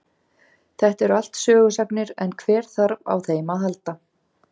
Þetta eru allt sögusagnir en hver þarf á þeim að halda.